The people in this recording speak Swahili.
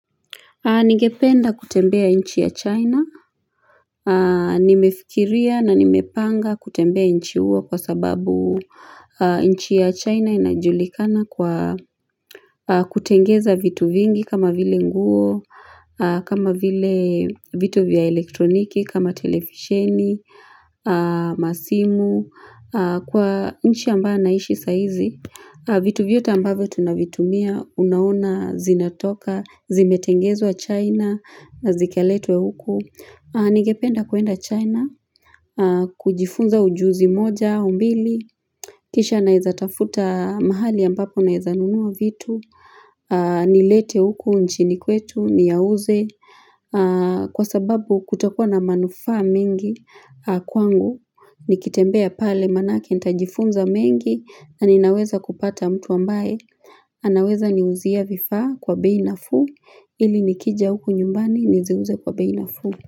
Ningependa kutembea nchi ya China. Nimefikiria na nimepanga kutembea nchi huo kwa sababu nchi ya China inajulikana kwa kutengeneza vitu vingi kama vile nguo, kama vile vitu vya elektroniki, kama televisheni, masimu, kwa nchi ambayo naishi sasa hizi. Vitu bvitu vyote ambavyo tunavitumia, unaona, zinatoka, zimetengenezwa China, zikaletwa huku. Ningependa kuenda China, kujifunza ujuzi moja, au mbili, kisha naweza tafuta mahali ambapo naweza nunua vitu. Nilete huku nchini kwetu, niyauze. Kwa sababu kutakuwa na manufaa mengi kwangu, nikitembea pale maanayake, Nitajifunza mengi, na ninaweza kupata mtu ambaye. Anaweza niuzia vifaa kwa bei nafuu, ili nikija huku nyumbani niziuze kwa bei nafuu.